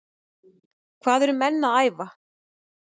Hvað eru menn að æfa?